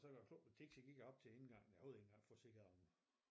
Så da æ klok blev 10 så gik jeg op til æ indgang æ hovedindgang for at se om